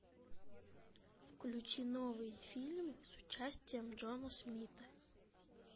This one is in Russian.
включи новый фильм с участием джона смита